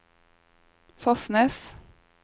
Fosnes